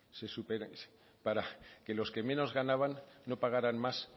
para que los que menos ganaban no pagaran más